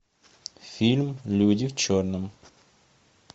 фильм люди в черном